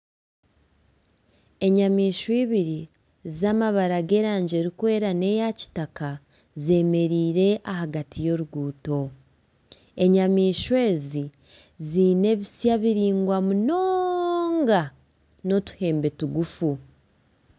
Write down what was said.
Enyamaishwa ibiri z'amabara g'erangi erikwera nana eya kitaka, zemereire ahagati y'oruguuto enyamaishwa ezi ziine ebisya biraingwa munonga n'otuhembe tugufu.